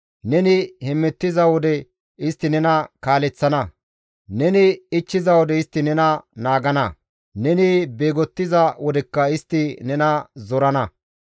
Neni hemettiza wode istti nena kaaleththana; neni ichchiza wode istti nena naagana; neni beegottiza wodekka istti nena zorana.